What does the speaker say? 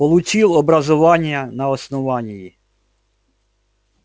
получил образование на основании